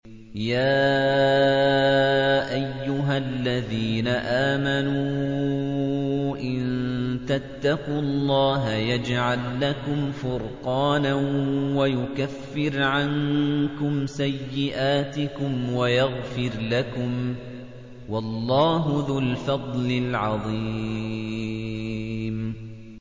يَا أَيُّهَا الَّذِينَ آمَنُوا إِن تَتَّقُوا اللَّهَ يَجْعَل لَّكُمْ فُرْقَانًا وَيُكَفِّرْ عَنكُمْ سَيِّئَاتِكُمْ وَيَغْفِرْ لَكُمْ ۗ وَاللَّهُ ذُو الْفَضْلِ الْعَظِيمِ